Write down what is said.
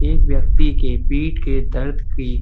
एक व्यक्ति के पीठ के दर्द की --